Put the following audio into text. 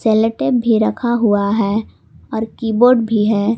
Sellotape भी रखा हुआ है कीबोर्ड भी है।